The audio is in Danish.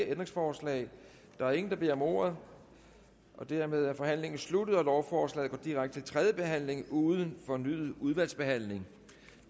ændringsforslag der er ingen der beder om ordet dermed er forhandlingen sluttet jeg forslår at lovforslaget går direkte til tredje behandling uden fornyet udvalgsbehandling